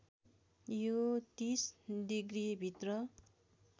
यो ३० डिग्रीभित्र